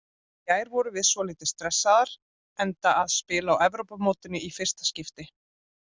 Í gær vorum við svolítið stressaðar enda að spila á Evrópumótinu í fyrsta skipti.